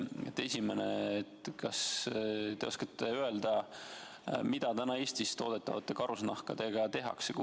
Esimene: kas te oskate öelda, mida Eestis toodetavate karusnahkadega tehakse?